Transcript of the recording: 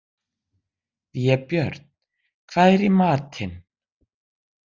Vébjörn, hvað er í matinn?